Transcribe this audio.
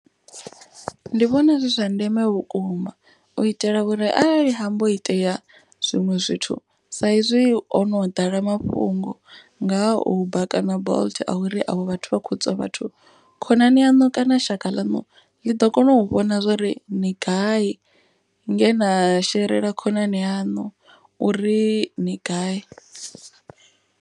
Ndi vhona zwi zwa ndeme vhukuma u itela uri arali hambo itea zwiṅwe zwithu. Sa izwi hono ḓala mafhungo nga uber kana bolt a uri avho vhathu vha khou tswa vhathu. Khonani yaṋu kana shaka lanu ḽi ḓo kona u vhona zwori ni gai nge na sherela khonani yanu uri ni gai.